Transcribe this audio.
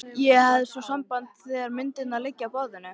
Ég hef svo samband þegar myndirnar liggja á borðinu.